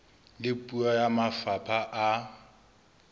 le puo ya mafapha a